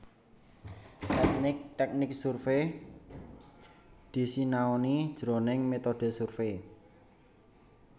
Tèknik tèknik survai disinaoni jroning métodhe survei